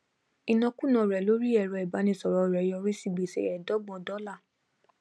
ìnákùná rẹ lórí ẹrọ ibánisọrọ rẹ yọrí sí gbèsè ẹẹdọgbọn dọlà